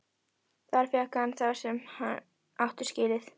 Þar fékk hann það sem hann átti skilið.